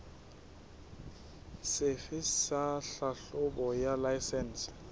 sefe sa tlhahlobo ya laesense